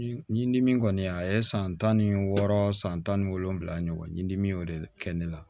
Ɲi dimi kɔni a ye san tan ni wɔɔrɔ san tan ni wolonwula ɲɔgɔn ɲini dimi y'o de kɛ ne la